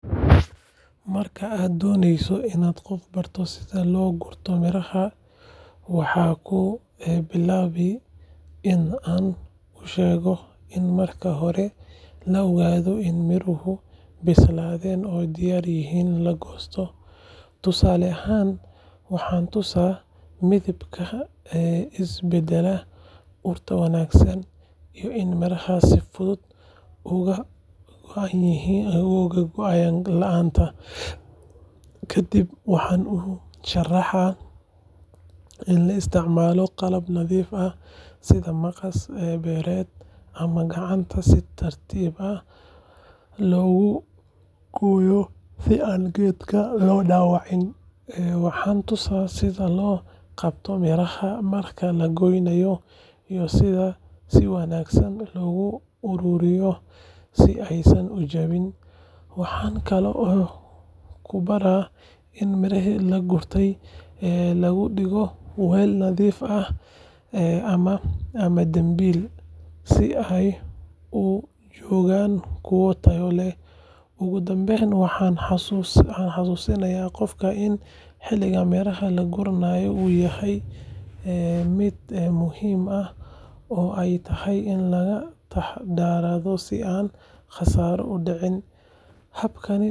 Marka aan doonayo in aan qof baro sida loo gurto miraha, waxaan ku bilaabaa in aan u sheego in marka hore la ogaado in miruhu bislaadeen oo diyaar u yihiin in la goosto. Tusaale ahaan, waxaan tusaa midabka is beddelay, urta wanaagsan, iyo in miraha si fudud uga go’ayaan laanta. Kadib waxaan u sharxaa in la isticmaalo qalab nadiif ah sida maqas beereed ama gacanta si tartiib ah loogu gooyo si aan geedka loo dhaawicin. Waxaan tusaa sida loo qabto miraha marka la goynayo iyo sida si wanaagsan loogu ururiyo si aysan u jabin. Waxaan kaloo ku baraa in miraha la gurtay lagu dhigo weel nadiif ah ama dambiil si ay u joogaan kuwo tayo leh. Ugu dambayn waxaan xusuusiyaa qofka in xilliga miraha la guranayo uu yahay mid muhiim ah oo ay tahay in laga taxadaro si aan khasaaro u dhicin. Habkani waa mid fudud.